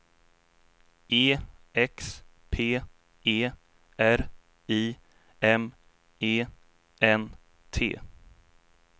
E X P E R I M E N T